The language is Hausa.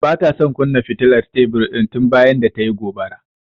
Bata kunna fitilar tebur din tun bayan da tayi gobara.